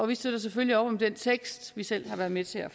vi støtter selvfølgelig op om den tekst vi selv har været med til at